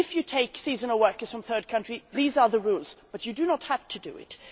It means if you take seasonal workers from third countries, these are the rules, but you do not have to do it.